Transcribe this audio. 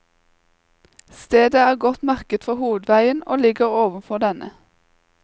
Stedet er godt merket fra hovedveien og ligger ovenfor denne.